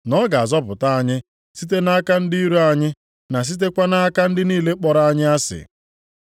Na ọ ga-azọpụta anyị site nʼaka ndị iro anyị na sitekwa nʼaka ndị niile kpọrọ anyị asị.